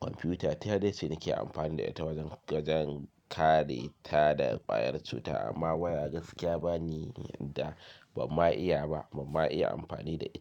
Kwamfiyuta ta dai ce nake amfani da ita wajen gadon kare ta da ƙwayar cuta amma waya gaskiya ba ni yadda bamma iya ba, bamma iya amfani da ita.